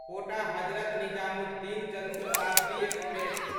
quota Hazrat Nizamuddin Jan Shatabdi express